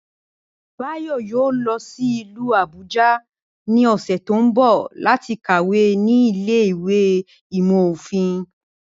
Báyò̩ yóò lo̩ sí ìlú Àbúja ní ò̩sè̩ tó ń bò̩ láti kàwé ní ilé ìwé ìmò̩ òfin